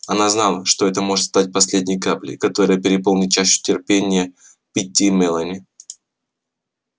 она знала что это может стать последней каплей которая переполнит чашу терпения питти и мелани